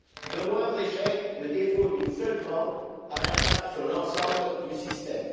Le moindre échec, le défaut d'une seule banque, a un impact sur l'ensemble du système.